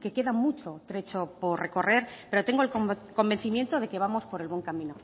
que queda mucho trecho por recorrer pero tengo el convencimiento de que vamos por el buen camino